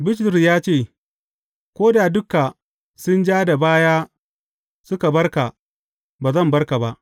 Bitrus ya ce, Ko da duka sun ja da baya suka bar ka, ba zan bar ka ba.